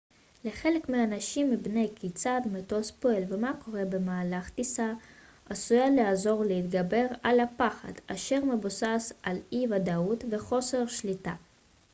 לחלק מהאנשים הבנה כיצד מטוס פועל ומה קורה במהלך טיסה עשויה לעזור להתגבר על הפחד אשר מבוסס על אי-ודאות וחוסר שליטה